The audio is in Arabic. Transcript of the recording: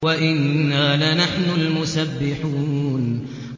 وَإِنَّا لَنَحْنُ الْمُسَبِّحُونَ